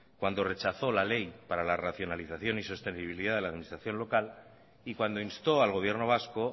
cuando rechazó la ley para la racionalización y sostenibilidad de la administración local y cuando instó al gobierno vasco